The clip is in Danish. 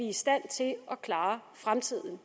i stand til at klare fremtiden